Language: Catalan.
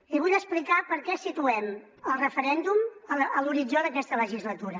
i vull explicar per què situem el referèndum a l’horitzó d’aquesta legislatura